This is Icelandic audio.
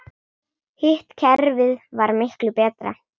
Hitt kerfið var miklu betra.